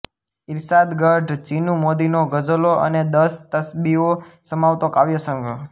ઇર્શાદગઢ ચિનુ મોદીનો ગઝલો અને દશ તસ્બીઓ સમાવતો કાવ્યસંગ્રહ